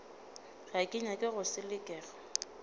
ga ke nyake go selekega